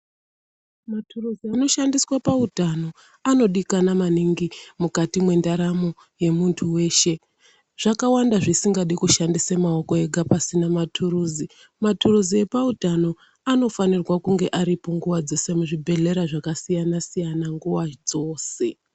Maturuzu anoshandiswe pautano anodikanwa maningi mukati mwendaramo yemuntu weshe, zvakawanda zvisingadi kushandisa maoko ega pasina maturuzi, maturuzi epautano anofanirwa kunga aripo nguva dzese muzvibhehlera zvakasiyanasiyana nguwa dzose.